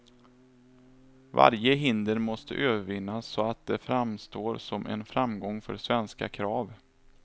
Varje hinder måste övervinnas så att det framstår som en framgång för svenska krav.